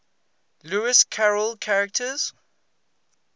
lewis carroll characters